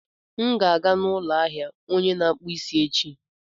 M ga-aga n'ụlọ ahịa onye na-akpụ isi echi.